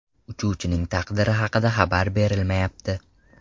Uchuvchining taqdiri haqida xabar berilmayapti.